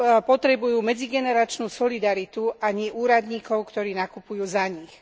Potrebujú medzigeneračnú solidaritu, a nie úradníkov, ktorí nakupujú za nich.